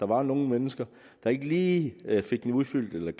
var nogle mennesker der ikke lige fik den udfyldt eller